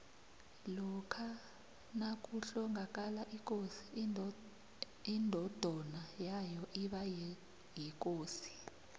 lokha nakuhlongakala ikosi indodona yayo iba yikosi